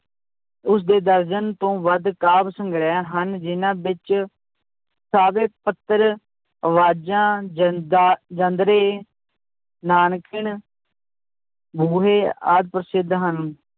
ਉਸਦੇ ਦਰਜਨ ਤੋਂ ਵੱਧ ਕਾਵਿ ਸੰਗ੍ਰਹਿ ਹਨ ਜਿਹਨਾਂ ਵਿੱਚ ਸਾਵੇ ਪੱਤਰ, ਆਵਾਜ਼ਾਂ, ਜ਼ੰਦਾ, ਜ਼ਿੰਦਰੇ ਬੂਹੇ ਆਦਿ ਪ੍ਰਸਿੱਧ ਹਨ।